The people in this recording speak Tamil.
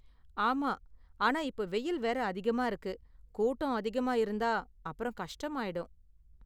ஆமா, ஆனா இப்ப வெயில் வேற அதிகமா இருக்கு, கூட்டம் அதிகமா இருந்தா அப்பறம் கஷ்டமாயிடும்.